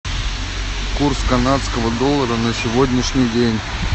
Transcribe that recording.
курс канадского доллара на сегодняшний день